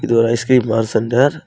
இது ஒரு ice cream bar centre .